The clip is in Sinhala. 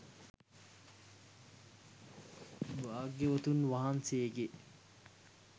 භාග්‍යවතුන් වහන්සේගේ